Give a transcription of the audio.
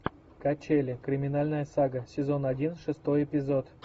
качели криминальная сага сезон один шестой эпизод